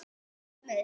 Út með ykkur!